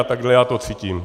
A takhle já to cítím.